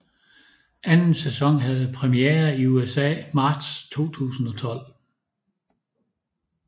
Anden sæson havde præmiere i USA marts 2012